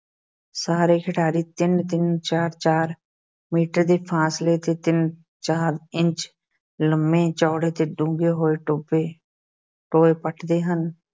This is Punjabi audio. ਸਾਰੇ ਖਿਡਾਰੀ ਤਿੰਨ-ਤਿੰਨ ਚਾਰ-ਚਾਰ ਮੀਟਰ ਦੇ ਫ਼ਾਸਲੇ ਤੇ ਤਿੰਨ-ਚਾਰ ਇੰਚ ਲੰਮੇ, ਚੌੜੇ ਤੇ ਡੂੰਘੇ ਹੋਏ ਟੋਭੇ ਟੋਏ ਪੁੱਟਦੇ ਹਨ,